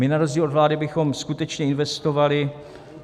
My na rozdíl od vlády bychom skutečně investovali.